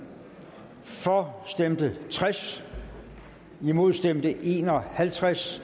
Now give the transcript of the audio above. for stemte tres og imod stemte en og halvtreds